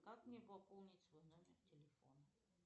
как мне пополнить свой номер телефона